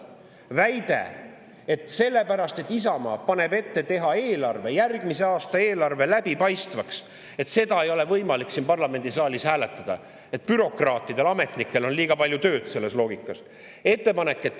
Väide, et Isamaa ettepanekut teha järgmise aasta eelarve läbipaistvaks ei ole võimalik siin parlamendisaalis hääletada, sest bürokraatidel, ametnikel on liiga palju tööd …